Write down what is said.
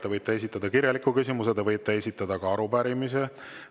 Te võite esitada kirjaliku küsimuse, te võite esitada ka arupärimise.